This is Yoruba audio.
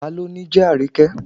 Ta ló ni jẹ́ Àríkẹ́?